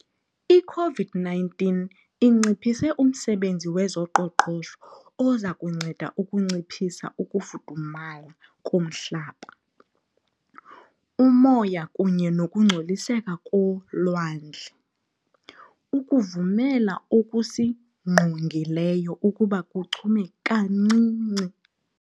i-COVID-19 onciphise umsebenzi wezoqoqosho ozakunceda ukunciphisa ukufudumala komhlaba, umoya kunye nokungcoliseka kolwandle, ukuvumela okusingqongileyo ukuba kuchume kancinci.